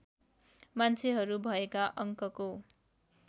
मान्छेहरू भएका अङ्कको